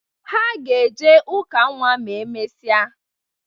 Ha ga-eje ụka nnwa ma emesịa.